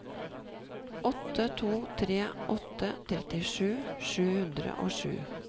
åtte to tre åtte trettisju sju hundre og sju